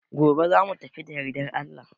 Gobe za mu tafi da yardar Allah.